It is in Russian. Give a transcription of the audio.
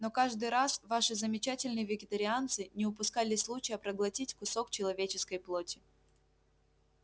но каждый раз ваши замечательные вегетарианцы не упускали случая проглотить кусок человеческой плоти